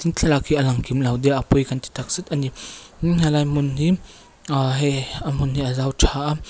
thlalak hi a lang kimlo deuh a pawi ka ti takzet a ni umm helai hmun hi aa hei a hmun hi a zau tha a--